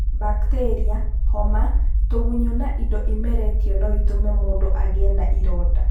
Bacteria, homa, tũgunyũ na indo imeretio na ĩtũme mũndũ agĩe na ironda.